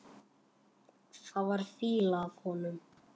Það var fýla af honum.